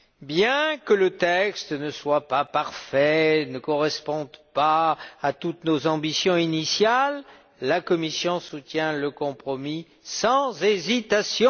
Bien que le texte ne soit pas parfait et ne corresponde pas à toutes nos ambitions initiales, la Commission soutient le compromis sans hésitation.